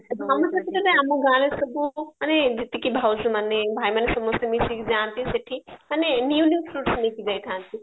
ଧନୁ ଯାତ୍ରାରେ ଆମ ଗାଁରେ ସବୁ ମାନେ ଯେତିକି ଭାଉଜ ମାନେ ଭାଇ ମାନେ ସମସ୍ତେ ମିଶିକି ଯାଆନ୍ତି ସେଠି ମାନେ fruits ନେଇକି ଯାଇଥାନ୍ତି